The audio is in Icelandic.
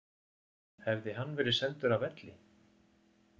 Hefði hann verið sendur af velli